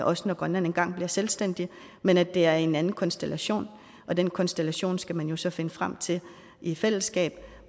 også når grønland engang bliver selvstændig men at det er i en anden konstellation den konstellation skal man jo så finde frem til i fællesskab